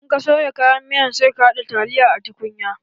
In ka soya kayan miyan sai ka haɗa taliyar a tukunya.